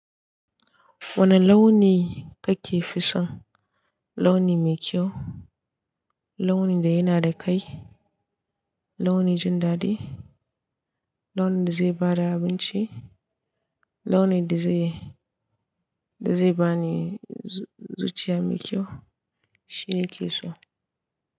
Wane launi kake fi son? Launi mai kyau, launi da yana da kai, launi jin daɗi, launi da zai ba da abinci, launi da zai, da zai bani zuciya mai kyau shine keso.